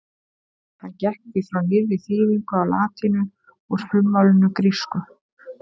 Hann gekk því frá nýrri þýðingu á latínu úr frummálinu grísku.